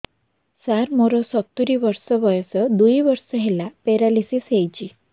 ସାର ମୋର ସତୂରୀ ବର୍ଷ ବୟସ ଦୁଇ ବର୍ଷ ହେଲା ପେରାଲିଶିଶ ହେଇଚି